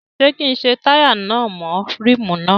Ṣé kí n ṣe táyà náà mọ́ ríìmù náà?